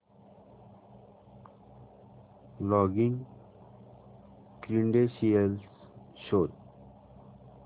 login credentials शोध